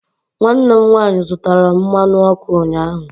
Nwanne m nwaanyị zụtara mmanụ ọkụ ụnyahụ.